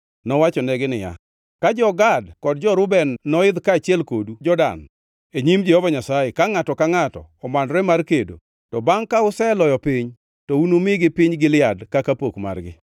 Nowachonegi niya, “Ka jo-Gad kod jo-Reuben noidh kaachiel kodu Jordan e nyim Jehova Nyasaye, ka ngʼato ka ngʼato omanore mar kedo, to bangʼ ka useloyo piny, to unumigi piny Gilead kaka pok margi.